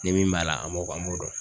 Ne min b'a la an m'o an m'o dɔn.